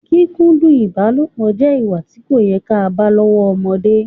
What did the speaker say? Kíkúndu ìbálopọ̀ jẹ ìwà tí kò yẹ ká bá lọ́wọ́ ọmọdé